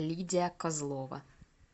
лидия козлова